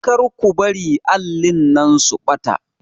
Kar ku bari allin nan su ɓata